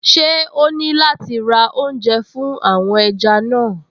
Ṣé o ní láti ra oúnjẹ fún àwọn ẹja náà?